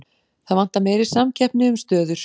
Það vantar meiri samkeppni um stöður